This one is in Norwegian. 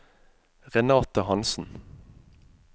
Renate Hanssen